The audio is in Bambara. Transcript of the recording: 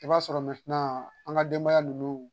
I b'a sɔrɔ an ka denbaya ninnu